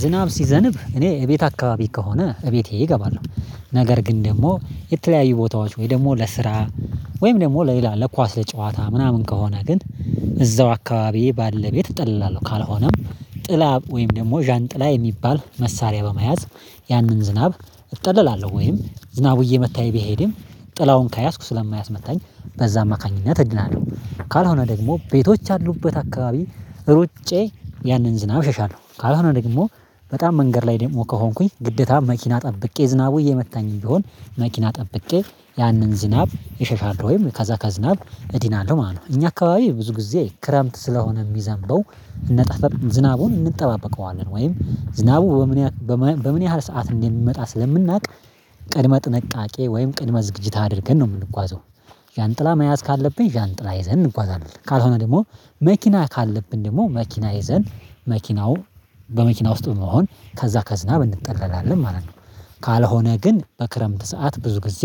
ዝናብ ሲዘንብ እኔ ቤት አካባቢ ከሆነ እቤቴ እገባለሁ ነገር ግን ደግሞ የተለያዩ ቦታዎች ወይ ደግሞ ለስራ ወይም ደግሞ ለሌላ ለኳስ ለጨዋታ ምናምን ከሆነ ግን እዛው አካባቢዬ ባለ ቤት እጠላለሁ ካልሆነም ጥላ ወይም ደግሞ ዣንጥላ የሚባል መሳሪያ በመያዝ ያንን ዝናብ እጠላለሁ ወይም ዝናቡ እየመታኝ ቢሄድም ጥላውን ከያዝኩ ስለማያስመታኝ በዛ አማካኝነት እድናለሁ ካልሆነ ደግሞ ቤቶች አሉበት አካባቢ ሩጬ ያንን ዝናብ ሸሻለሁ ካልሆነ ደግሞ በጣም መንገድ ላይ ደግሞ ከሆንኩኝ ግደታ መኪና ጠብቄ ዝናቡ እየመታኝ ቢሆን መኪና ጠብቄ ያንን ዝናብ እሸሻለው ወይም ከዛ ከዝናብ እድናለሁ ማለት ነው። እኛ አካባቢ ብዙ ጊዜ ክረምት ስለሆነ የሚዘንበው ዝናቡን እንጠባበቀዋለን ወይም ዝናቡ በምን በምን ያህል ሰዓት እንዴት እንመጣ ስለምናውቅ ቅድመ ጥንቃቄ ወይም ቅድመ ዝግጅት አድርገን ነው የምንጓዘው። ዣንጥላ መያዝ ካለብኝ ዣንጥላ ይዘን እንጓዛለን ካልሆነ ደግሞ መኪና ካለብን ደግሞ መኪና ይዘን መኪናው በመኪና ውስጥ በመሆን ከዛ ከዝናብ እንጠላለን ማለት ነው። ካልሆነ ግን በክረምት ሰዓት ብዙ ጊዜ